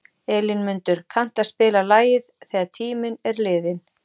Elínmundur, kanntu að spila lagið „Þegar tíminn er liðinn“?